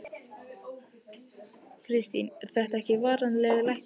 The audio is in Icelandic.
Kristín: Er þetta varanleg lækkun?